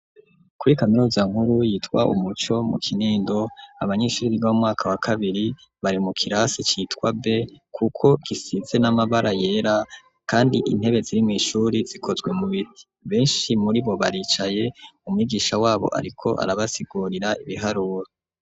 Kuri kaminuza nkuru, yitwa Umuco, mu Kinindo, abanyeshuri, biga mu mwaka wa kabiri, bari mu kirasi citwa B; kuko gisize n'amabara yera, kandi intebe ziri mw'ishuri, zikozwe mu biti; benshi muri bo, baricaye, umwigisha wabo, ariko arabasigurira, ibiharuro.